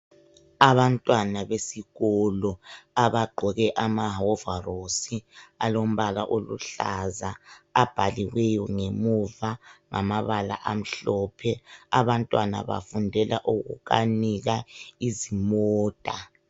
Abantwana besikolo abagqoke amahovarosi alombala oluhlaza abhaliweyo ngemuva ngamabala amhlophe, abantwana bafundela ukukanika izimota.